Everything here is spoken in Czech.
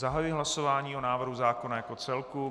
Zahajuji hlasování o návrhu zákona jako celku.